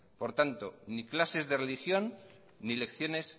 por tanto ni clases de religión ni lecciones